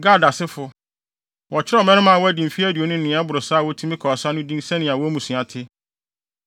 Gad asefo: Wɔkyerɛw mmarima a wɔadi mfe aduonu ne nea ɛboro saa a wobetumi akɔ ɔsa no din sɛnea wɔn mmusua te.